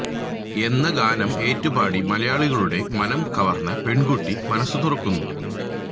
എന്ന ഗാനം ഏറ്റുപാടി മലയാളികളുടെ മനം കവര്ന്ന പെണ്കുട്ടി മനസ്സു തുറക്കുന്നു